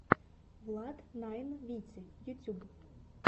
влад найн вити ютюб